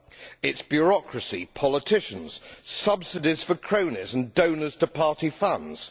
It is bureaucracy, politicians, subsidies for cronies and donors to party funds.